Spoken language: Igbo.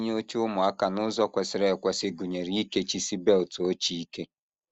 Itinye oche ụmụaka n’ụzọ kwesịrị ekwesị gụnyere ikechisi belt oche ike